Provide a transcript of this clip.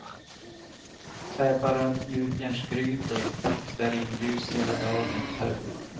Släpa runt gjutjärnsgrytor och stearinljus hela dagen. punkt